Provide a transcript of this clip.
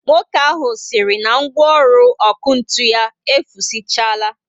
Nwoke ahụ siri na ngwaọrụ ọkụ ntụ ya efusichaala